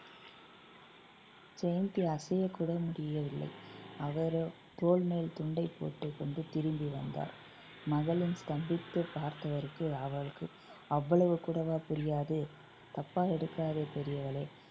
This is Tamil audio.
ஜெயந்தி அசையக்கூட முடியவில்லை அவரோ தோள் மேல் துண்டைப் போட்டுக்கொண்டு திரும்பி வந்தார் மகளின் ஸ்தம்பித்துப் பார்த்தவருக்கு அவருக்கு அவ்வளவு கூடவா புரியாது தப்பாக எடுக்காதே பெரியவளே